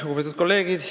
Lugupeetud kolleegid!